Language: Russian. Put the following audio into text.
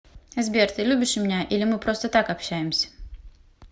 сбер ты любишь меня или мы просто так общаемся